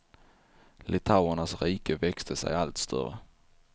Litauernas rike växte sig allt större.